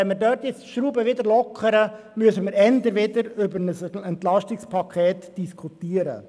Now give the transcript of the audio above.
Wenn wir dort die Schraube jetzt wieder lockern, müssen wir früher wieder über ein EP diskutieren.